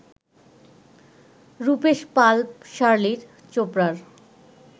রূপেশ পাল-শার্লিন চোপড়ার